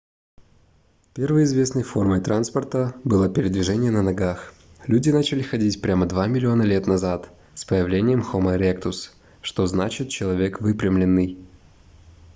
первой известной формой транспорта было передвижение на ногах люди начали ходить прямо два миллиона лет назад с появлением хомо эректус что значит человек выпрямленный